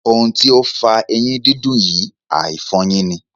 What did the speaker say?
Ohun ti ó fa eyín dídùn yìí, àìfọ eyín ni..